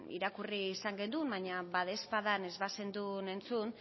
irakurri izan genuen baina badaezpadan ez bazendun entzun